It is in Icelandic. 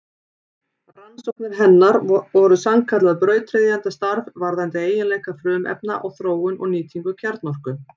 Rannsóknir hennar voru sannkallað brautryðjendastarf varðandi eiginleika frumefna og þróun og nýtingu kjarnorku.